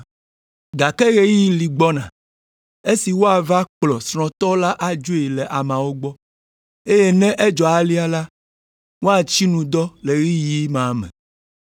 Gake ɣeyiɣi li gbɔna esi woava kplɔ srɔ̃tɔ la adzoe le ameawo gbɔ, eye ne edzɔ alea la, woatsi nu dɔ le ɣeyiɣi ma me.”